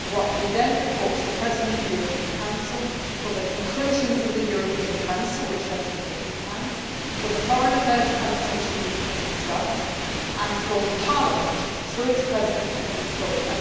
We then report to the President of the European Council for the conclusions of the European Council which rest within his hands for the Foreign Affairs Council to meet and discuss and for Parliament, through its President, to put this forward.